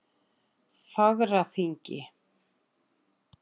Fagraþingi